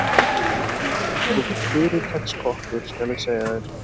Ég er sko fyrirtaks kokkur, skal ég segja þér.